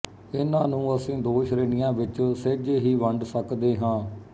ਇਨ੍ਹਾਂ ਨੂੰ ਅਸੀਂ ਦੋ ਸ਼ੇ੍ਣੀਆਂ ਵਿੱਚ ਸਹਿਜੇ ਹੀ ਵੰਡ ਸਕਦੇ ਹਾਂ